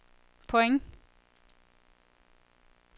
point